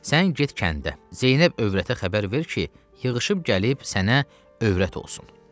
Sən get kəndə Zeynəb övrətə xəbər ver ki, yığışıb gəlib sənə övrət olsun.